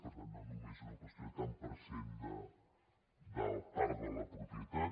per tant no només és una qüestió de tant per cent de part de la propietat